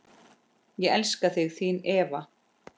Ég elska þig, þín Eva.